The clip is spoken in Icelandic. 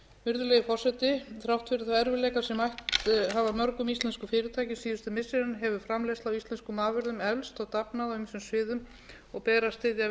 virðulegi forseti þrátt fyrir þá erfiðleika sem mætt hafa mörgum íslenskum fyrirtækjum síðustu missirin hefur framleiðsla á íslenskum afurðum eflst og dafnað á ýmsum sviðum og ber að styðja